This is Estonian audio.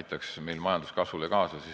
aitaks meie majanduskasvule kaasa?